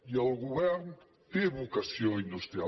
i el govern té vocació industrial